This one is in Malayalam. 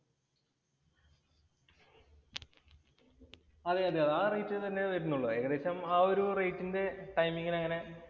അതെ അതെ ആ റേറ്റ് തന്നേ വരുന്നുള്ളൂ. വരുന്നുള്ളൂ ഏകദേശം ആ ഒരു റേറ്റിന്‍റെ ടൈമിങ്ങിന്